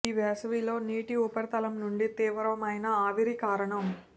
ఈ వేసవిలో నీటి ఉపరితలం నుండి తీవ్రమైన ఆవిరి కారణం